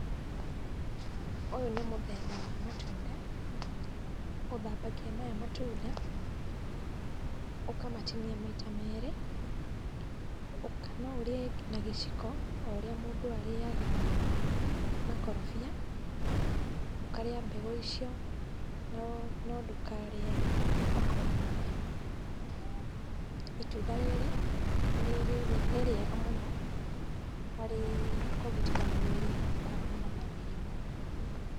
Ũyũ nĩ mũthemba wa matunda, ũthambagia maya matunda, ũkamatinia maita merĩ, no ũrĩe na gĩciko, o ũrĩa mũndũ arĩaga makorobia, ũkarĩa mbegũ icio, no ndũkarĩe makori mayo. Itunda rĩrĩ nĩ rĩega mũno harĩ kũgitĩra mwĩrĩ kuumana na mĩrimũ.